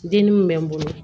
Den min bɛ n bolo